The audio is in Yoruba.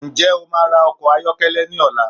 Nje o máa ra ọkọ̀ ayọ́kẹ́lẹ́ ní ọ̀la?